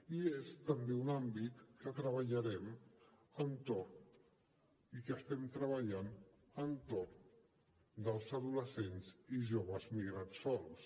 i és també un àmbit que treballarem i hi estem treballant entorn dels adolescents i joves migrants sols